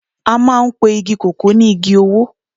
a maan pe Igi koko ni Igi owo